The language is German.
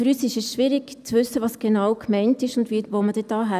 Für uns ist es schwierig zu wissen, was genau gemeint ist und wohin man da fährt.